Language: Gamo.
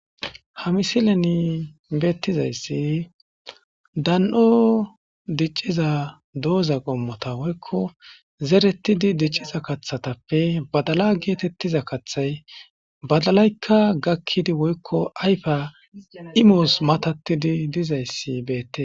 Ha misileni beettizayssi dan'o dicciza dooza qommota woykko zeretidi dicciza kathatappe badala geetettiza kathay badalaykka gakkidi woykko ayfa imoos matatidi dizayssi beette.